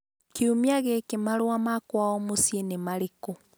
kiumia gĩkĩ marũa ma kwao mũciĩ nĩ marĩkũ?